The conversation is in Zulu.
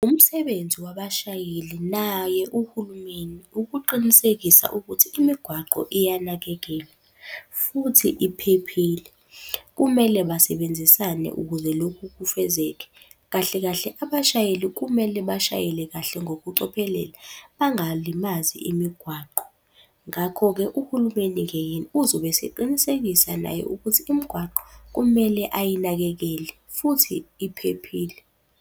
Umsebenzi wabashayeli naye uhulumeni ukuqinisekisa ukuthi imigwaqo iyanakekelwa futhi iphephile. Kumele basebenzisane ukuze lokhu kufezeke. Kahle kahle abashayeli kumele bashayele kahle ngokucophelela, bangalimazi imigwaqo. Ngakho-ke, uhulumeni-ke yena uzobe eseqinisekisa naye ukuthi imigwaqo kumele ayinakekele futhi iphephile.